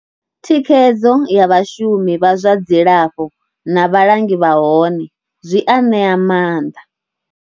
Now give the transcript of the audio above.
Thikhedzo ya vhashumi vha zwa dzilafho na vhalangi vha hone zwi a ṋea maanḓa.